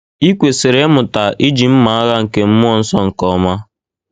I kwesịrị ịmụta iji mma agha nke mmụọ nsọ nke ọma